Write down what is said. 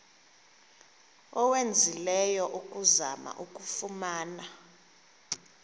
owenzileyo ukuzama ukuyifumana